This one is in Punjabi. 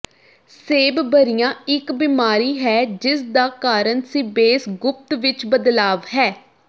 ਸੇਬਬਰਿਆ ਇੱਕ ਬਿਮਾਰੀ ਹੈ ਜਿਸਦਾ ਕਾਰਨ ਸੀਬੇਸ ਗੁਪਤ ਵਿੱਚ ਬਦਲਾਵ ਹੈ